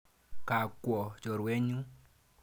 Ga kwo chorwet nyu.